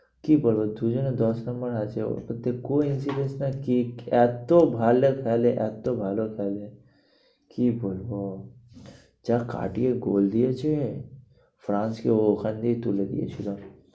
কি বলবো দু জন্যে দশ number এ আছে coincidence না কি এত ভালো খেলে এত ভালো খেলে কি বলবো যা কাটিয়ে goal দিয়েছে ফ্রান্স কে ও ওখান দিয়েই তুলে দিয়েছিলো।